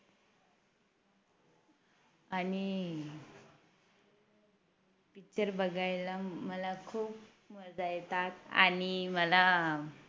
आणि Picture बघायला मला खूप मजा येतात आणि मला